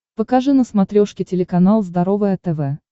покажи на смотрешке телеканал здоровое тв